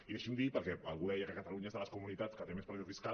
i deixi’m dir perquè algú deia que catalunya és de les comunitats que té més pressió fiscal